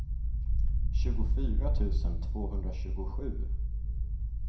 tjugofyra tusen tvåhundratjugosju